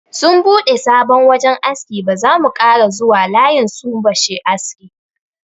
Sun bude sabon wajan aski, ba zamu kara zuwa layin sun bashi aski.